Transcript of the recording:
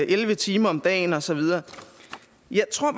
elleve timer om dagen og så videre jeg tror